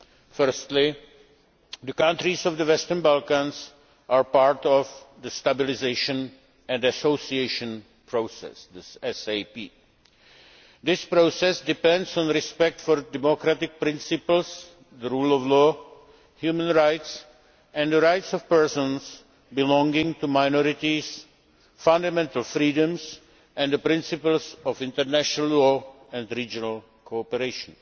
Firstly, the countries of the Western Balkans are part of the Stabilisation and Association Process This process depends on respect for democratic principles, the rule of law, human rights and the rights of persons belonging to minorities, fundamental freedoms and the principles of international law and regional cooperation.